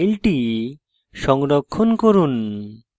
এখন file সংরক্ষণ করুন